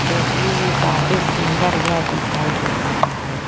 देखने में काफी सुंदर यह दिखाई दे रहा है।